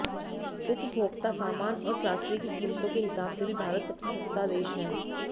उपभोक्ता सामान और ग्रॉसरी की क़ीमतों के हिसाब से भी भारत सबसे सस्ता देश है